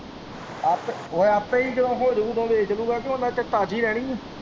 ਆਪੇ ਉਹ ਆਪੇ ਹੀ ਜਦੋਂ ਹੋ ਜੂ ਉਹਨਾਂ ਚਿਰ ਤਾਜ਼ੀ ਰਹਿਣੀ ਏ।